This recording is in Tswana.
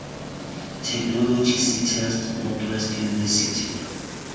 technology ctext north west university